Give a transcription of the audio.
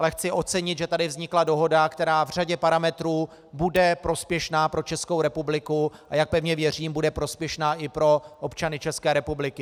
Ale chci ocenit, že tady vznikla dohoda, která v řadě parametrů bude prospěšná pro Českou republiku, a jak pevně věřím, bude prospěšná i pro občany České republiky.